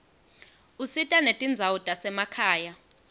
usita netindzawo tasemakhaya